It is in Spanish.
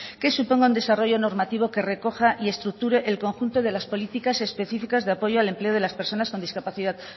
que suponga un desarrollo normativo que recoja y estructure el conjunto de las políticas específicas de apoyo al empleo de las personas con discapacidad